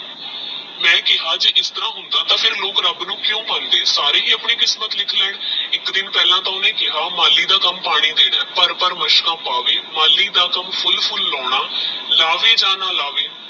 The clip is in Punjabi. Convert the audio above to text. ਮੈ ਕੇਹਾ ਜੇ ਇਸ ਤਰਹ ਹੁੰਦਾ ਤਾ ਫੇਰ ਲੋਕ ਰੱਬ ਨੂ ਕੁ ਮੰਦੇ ਸਾਰੇ ਹੀ ਆਪਣੀ ਕਿਸਮਤ ਲਿਖ ਲੇਨ ਏਕ ਦਿਨ ਪਹਲਾ ਤਹ ਓਹਨੇ ਕੇਹਾ ਮਾਲੀ ਦਾ ਕਾਮ ਪਾਣੀ ਦੇਣਾ ਹੈ ਮਾਲੀ ਦਾ ਕਾਮ ਪੁਲ ਪੁਲ ਲਾਉਣਾ ਲਾਵੇ ਜਾ ਨਾ ਲਾਵੇ